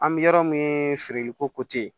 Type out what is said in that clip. An bɛ yɔrɔ min feereliko